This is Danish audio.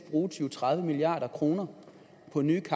milliard kroner